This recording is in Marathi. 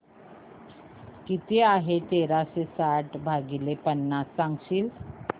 किती आहे तेराशे साठ भाग पन्नास सांगशील